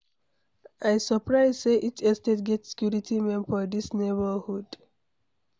I surprise sey each estate get security men for dis neighborhood.